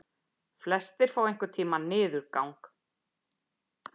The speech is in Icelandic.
Flestir fá einhvern tíma niðurgang.